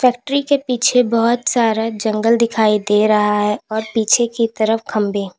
factory के पीछे बहोत सारा जंगल दिखाई दे रहा है और पीछे की तरफ खंबें --